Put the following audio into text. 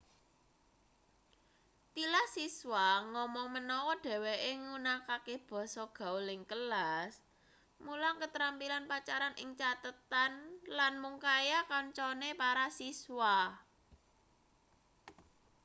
tilas siswa ngomong menawa dheweke nggunakake basa gaul ing kelas mulang ketrampilan pacaran ing catetan lan mung kaya kancane para siswa